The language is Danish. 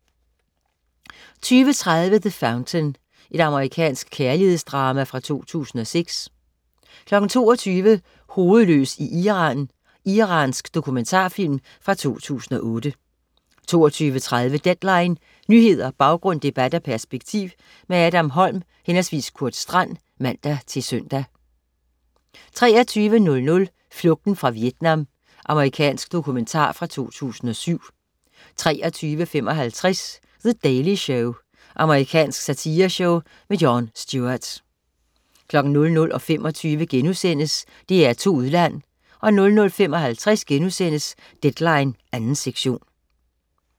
20.30 The Fountain. Amerikansk kærlighedsdrama fra 2006 22.00 Hovedløs i Iran. Iransk dokumentarfilm fra 2008 22.30 Deadline. Nyheder, baggrund, debat og perspektiv. Adam Holm/Kurt Strand (man-søn) 23.00 Flugten fra Vietnam. Amerikansk dokumentar fra 2007 23.55 The Daily Show. Amerikansk satireshow. Jon Stewart 00.25 DR2 Udland* 00.55 Deadline 2. sektion*